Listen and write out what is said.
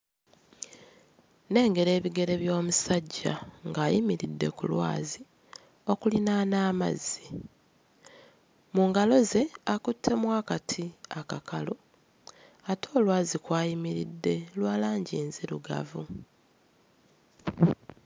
Nnengera ebigere by'omusajja ng'ayimiridde ku lwazi okulinaana amazzi. Mu ngalo ze akuttemu akati akakalu ate olwazi kw'ayimiridde lwa langi nzirugavu.